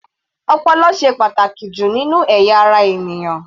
Ọpọlọ ló ṣe pàtàkì jù nínú ẹ̀yà ara ènìyàn.